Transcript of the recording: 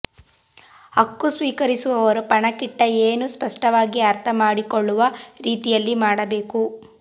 ಹಕ್ಕು ಸ್ವೀಕರಿಸುವವರ ಪಣಕ್ಕಿಟ್ಟ ಏನು ಸ್ಪಷ್ಟವಾಗಿ ಅರ್ಥ ಮಾಡಿಕೊಳ್ಳುವ ರೀತಿಯಲ್ಲಿ ಮಾಡಬೇಕು